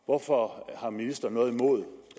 hvorfor har ministeren noget imod